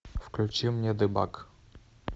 включи мне дебаг